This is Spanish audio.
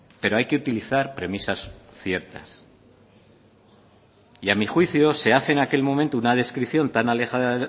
pero hay que utilizar premisas ciertas y a mi juicio se hace en aquel momento una descripción tan alejada